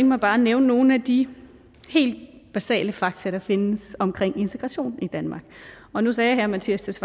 mig bare at nævne nogle af de helt basale fakta der findes omkring integration i danmark og nu sagde herre mattias